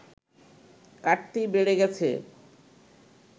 কাটতিই বেড়ে গেছে